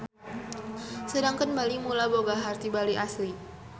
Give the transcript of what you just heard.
Sedengkeun Bali Mula boga harti Bali Asli.